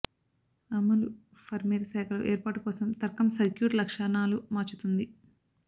అమలు ఫర్మ్వేర్ శాఖలు ఏర్పాటు కోసం తర్కం సర్క్యూట్ లక్షణాలు మార్చుతుంది